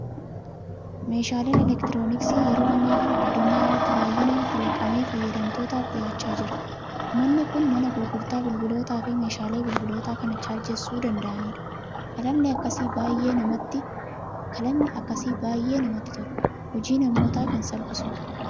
Meeshaaleen elektirooniksii yeroo ammaa kana addunyaa irratti baay'inaan kalaqamee fayyadamtootaaf dhiyaachaa jira. Manni kun mana gurgurtaa bilbilootaa fi meeshaalee bilbiloota kana chaarjeessuu danda'anidha. Kalaqni akkasii baay'ee namatti tola! Hojii namootaa kan salphisudha.